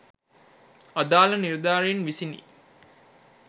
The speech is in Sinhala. අදාල නිළධාරින් විසිනි.